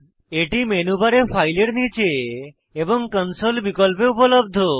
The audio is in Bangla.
এটি মেনু বারে ফাইল এর নীচে এবং কনসোল বিকল্পে উপলব্ধ